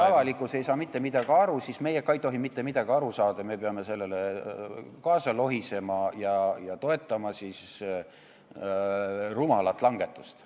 Ja kui avalikkus ei saa mitte midagi aru, siis meie nagu ka ei tohi mitte midagi aru saada, me peame sellega kaasa lohisema ja toetama rumalal moel tehtavat langetust.